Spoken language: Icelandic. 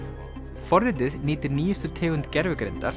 forritið nýtir nýjustu tegund gervigreindar